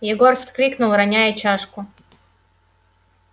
егор вскрикнул роняя чашку